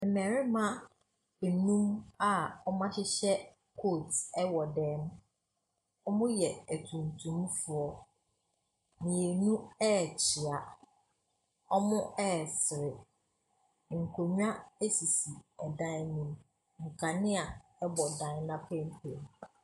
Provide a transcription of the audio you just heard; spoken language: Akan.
Mmarima anum a wɔahyehyɛ coat wɔ dan mu. Wɔyɛ atuntumfoɔ. Mmienu rekyea. Wɔresere. Nkonnwa sisi dan no mu. Nkanea bɔ dan no apenpem.